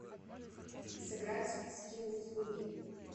сыграть в скилл услуги